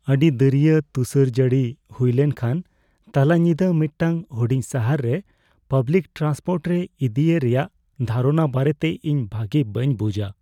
ᱟᱹᱰᱤ ᱫᱟᱹᱨᱭᱟᱹ ᱛᱩᱥᱟᱨᱼᱡᱟᱹᱲᱤ ᱦᱩᱭ ᱞᱮᱱᱠᱷᱟᱱ ᱛᱟᱞᱟ ᱧᱤᱫᱟᱹ ᱢᱤᱫᱴᱟᱝ ᱦᱩᱰᱤᱧ ᱥᱟᱦᱟᱨ ᱨᱮ ᱯᱟᱵᱽᱞᱤᱠ ᱴᱨᱟᱱᱥᱯᱳᱨᱴ ᱨᱮ ᱤᱫᱤ ᱮ ᱨᱮᱭᱟᱜ ᱫᱷᱟᱨᱚᱱᱟ ᱵᱟᱨᱮᱛᱮ ᱤᱧ ᱵᱷᱟᱜᱮ ᱵᱟᱹᱧ ᱵᱩᱡᱷᱼᱟ ᱾